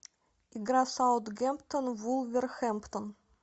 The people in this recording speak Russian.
игра саутгемптон вулверхэмптон